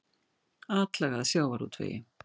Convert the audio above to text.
Atlaga að sjávarútvegi